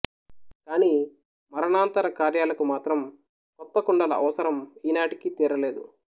కాని మరణానంతర కార్యాలకు మాత్రం కొత్త కుండల అవసరం ఈ నాటికి తీరలేదు